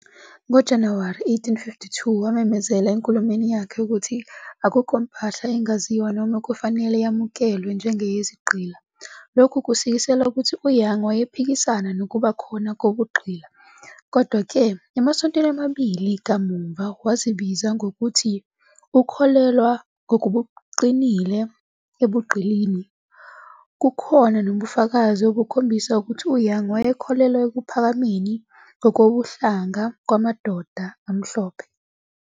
NgoJanuwari 1852, wamemezela enkulumweni yakhe ukuthi "akukho mpahla engaziwa noma okufanele yamukelwe njengeyizigqila."Lokhu kusikisela ukuthi uYoung wayephikisana nokuba khona kobugqila. Kodwa-ke, emasontweni amabili kamuva wazibiza ngokuthi "ukholelwa ngokuqinile ebugqilini."Kukhona nobufakazi obukhombisa ukuthi uYoung wayekholelwa ekuphakameni ngokobuhlanga kwamadoda amhlophe.